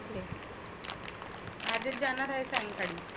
आज हे जानार आहे सांगताहेत.